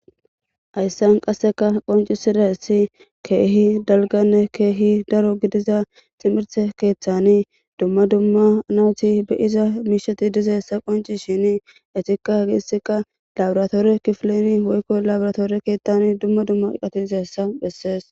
Haysan qasseka qonccisidaysi keehi dalganne keehi daro gidiza timirte keethani duma duma nayti be'iza miisheti dizaysa qoncishini etika hesika laboratoorre kifleeni woykko labratoorri keetani duma duma eqatti dizaysa beses.